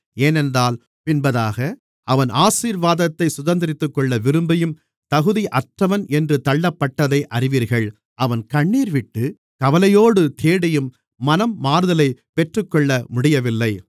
ஏனென்றால் பின்பதாக அவன் ஆசீர்வாதத்தைச் சுதந்தரித்துக்கொள்ள விரும்பியும் தகுதியற்றவன் என்று தள்ளப்பட்டதை அறிவீர்கள் அவன் கண்ணீர்விட்டு கவலையோடு தேடியும் மனம் மாறுதலைப் பெற்றுக்கொள்ள முடியவில்லை